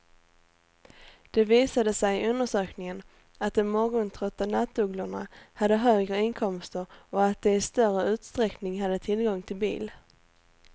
Det visade sig i undersökningen att de morgontrötta nattugglorna hade högre inkomster och att de i större utsträckning hade tillgång till bil.